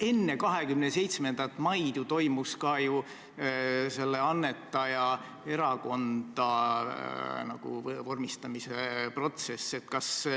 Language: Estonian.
Enne 27. maid toimus ka selle annetaja erakonda vormistamise protsess.